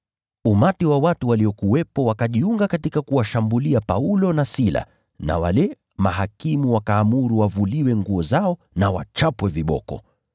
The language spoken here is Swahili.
Umati wa watu waliokuwepo wakajiunga katika kuwashambulia Paulo na Sila na wale mahakimu wakaamuru wavuliwe nguo zao na wachapwe viboko.